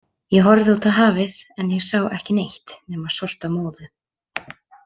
Ég horfði út á hafið en ég sá ekki neitt nema sortamóðu.